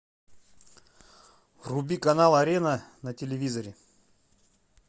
вруби канал арена на телевизоре